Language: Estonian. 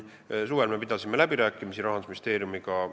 Suvel me pidasime läbirääkimisi Rahandusministeeriumiga.